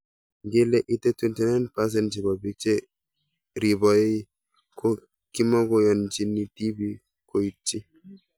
Ng'ele ite 29% chepo pik che ripaei ko kimukoyanchini tipik koitchi